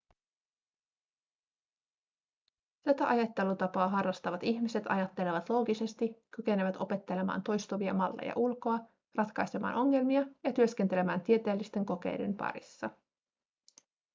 tätä ajattelutapaa harrastavat ihmiset ajattelevat loogisesti kykenevät opettelemaan toistuvia malleja ulkoa ratkaisemaan ongelmia ja työskentelemään tieteellisten kokeiden parissa